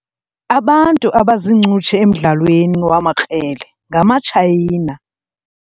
Abantu abaziincutshe emdlalweni wamakrele ngamaTshayina.